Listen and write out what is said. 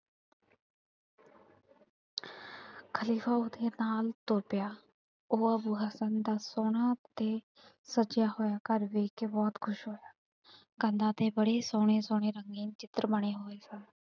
ਖ਼ਲੀਫ਼ਾ ਉਹਦੇ ਨਾਲ ਤੁਰ ਪਿਆ। ਉਹ ਅੱਬੂ ਹਸਨ ਦਾ ਸੋਹਣਾ ਅਤੇ ਸਜਿਆ ਹੋਇਆ ਘਰ ਵੇਖ ਕੇ ਬਹੁਤ ਖੁਸ਼ ਹੋਇਆ। ਕੰਧਾਂ ਤੇ ਬੜੇ ਸੋਹਣੇ ਸੋਹਣੇ ਰੰਗੀਨ ਚਿੱਤਰ ਬਣੇ ਹੋਏ ਸਨ।